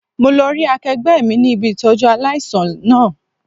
Mo lo rí akẹgbẹ́ mi ní ibi Ìtọ́jú aláìsàn náà.